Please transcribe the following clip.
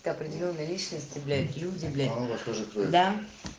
определённые личности блядь и удивление тоже туда